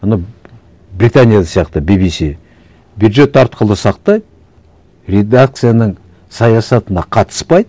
ана британияда сияқты би би си бюджет арқылы сақтайды редакцияның саясатына қатыспайды